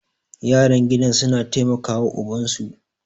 yaran gidan suna taimaka wa ubansu